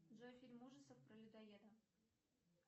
джой фильм ужасов про людоеда